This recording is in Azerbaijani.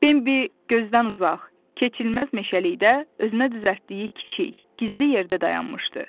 Bembi gözdən uzaq, keçilməz meşəlikdə özünə düzəltdiyi kiçik, gizli yerdə dayanmışdı.